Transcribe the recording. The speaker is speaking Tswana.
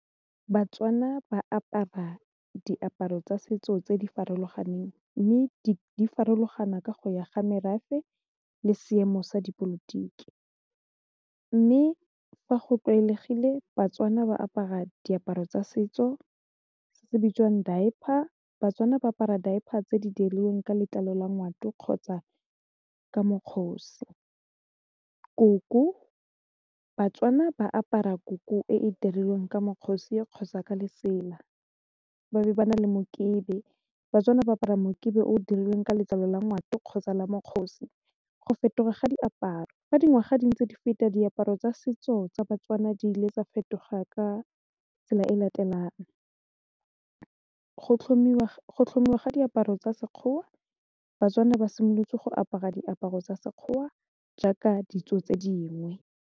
Batswana ba apara diaparo tsa setso tse di farologaneng mme di farologana ka go ya ga merafe le seemo sa dipolotiki mme fa go tlwaelegile Batswana ba apara diaparo tsa setso se se bitswang diaper Batswana ba apara diaper tse di dirilweng ka letlalo la ngwato kgotsa ka mokgosi, koko, Batswana ba apara koko e e dirilweng ka mokgosi e kgotsa ka lefela ba be ba na le mokete batswana ba apara mokebe o dirilweng ka letlalo la ngwato kgotsa la mokgosa go fetoga ga diaparo fa dingwaga dingwe tse di feta diaparo tsa setso tsa Batswana di le tsa fetogang ka tsela e latelang, go tlhomiwa ga diaparo tsa sekgowa Batswana ba simolotse go apara diaparo tsa sekgowa jaaka ditso tse dingwe.